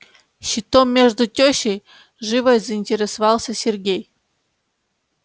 щитом между тёщей живо заинтересовался сергей